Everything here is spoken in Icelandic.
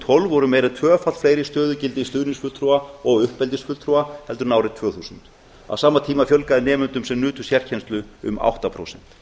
tólf voru meira en tvöfalt fleiri stöðugildi stuðningsfulltrúa og uppeldisfulltrúa en árið tvö þúsund á sama tíma fjölgaði nemendum sem nutu sérkennslu um átta prósent